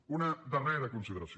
una darrera consideració